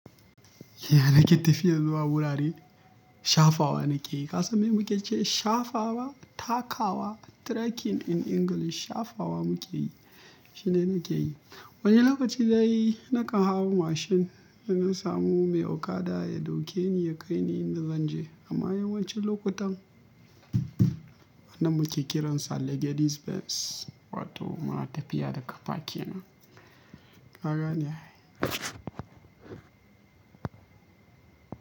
Ya nake tafiya zuwa wurare shafawa nake yi. Ka san me muke ce shafawa, takawa, trekking in English shafawa muke yi shine nake yi. Wani lokaci dai nakan hau mashin idan samu mai okada ya dauke ni ya kai ni inda zan je amma yawancin lokutan anan muke kiran sa legedis Benz wato muna tafiya da kafa kenan. Ka gane ai.